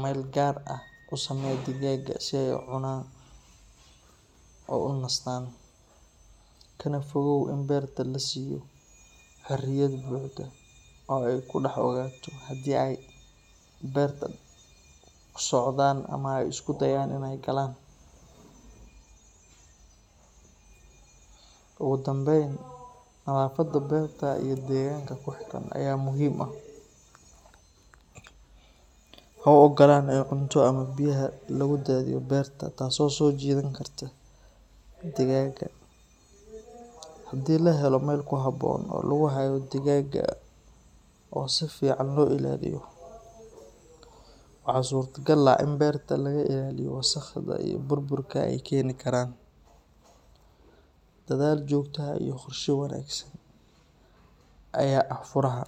meel gaar ah u samee digaaga si ay u cunaan oo u nastaan, kana fogow in beerta la siiyo xoriyad buuxda oo ay ku dhex socdaan. Sidoo kale, la soco dhaq-dhaqaaqooda maalin kasta si aad u ogaato haddii ay beerta ku socdaan ama ay isku dayayaan inay galaan. Ugu dambayn, nadaafadda beerta iyo deegaanka ku xeeran ayaa muhiim ah. Ha u ogolaan in cunto ama biyaha lagu daadiyo beerta taasoo soo jiidan karta digaaga. Haddii la helo meel ku habboon oo lagu hayo digaaga oo si fiican loo ilaaliyo, waxaa suurtagal ah in beerta laga ilaaliyo wasakhda iyo burburka ay keeni karaan. Dadaal joogto ah iyo qorshe wanaagsan ayaa ah furaha.